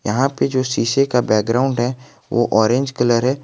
यहां पे जो शीशे का बैकग्राउंड है वो ऑरेंज कलर है।